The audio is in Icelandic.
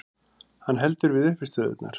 Hann heldur við uppistöðurnar.